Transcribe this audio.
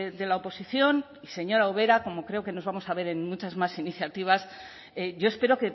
de la oposición y señora ubera como creo que nos vamos a ver en muchas más iniciativas yo espero